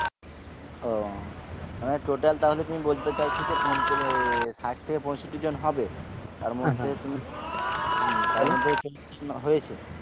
ও মানে total তাহলে তুমি বলতে চাইছো যে পঞ্চা~ এ ষাট থেকে পঁয়ষট্টি জন হবে তার মধ্যে তুমি হম তার মধ্যে চল্লিশ জন হয়েছে